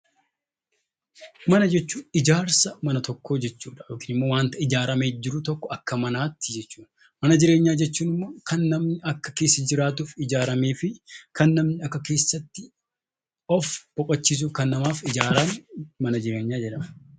Mana jechuun ijaarsa mana tokkoo yookiin waanta akka manaatti ijaaramee jiru jechuudha. Mana jireenyaa jechuun immoo kan namni akka keessa jiraatuuf ijaaramee fi kan namni akka keessatti of boqochiisuuf kan namaaf ijaarame mana jireenyaa jedhama.